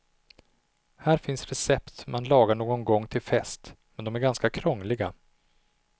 Här finns recept man lagar någon gång till fest men de är ganska krångliga.